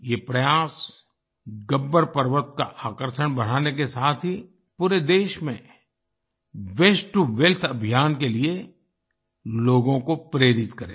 ये प्रयास गब्बर पर्वत का आकर्षण बढ़ाने के साथ ही पूरे देश में वास्ते टो वेल्थ अभियान के लिए लोगों को प्रेरित करेगा